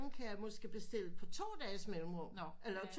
Kan jeg måske bestille på to dages mellemrum eller